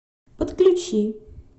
подключи